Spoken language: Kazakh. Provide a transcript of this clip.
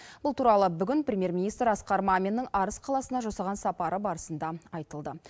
бұл туралы бүгін премьер министр асқар маминнің арыс қаласына жасаған сапары барысында айтылды